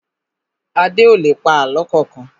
Adé ò lè pa àlọ́ kankan